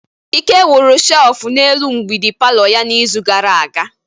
Ike wuru sheelfu n'elu mgbidi palo ya n'izu gara aga.